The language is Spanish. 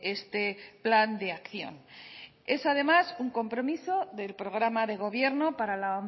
este plan de acción es además un compromiso del programa de gobierno para la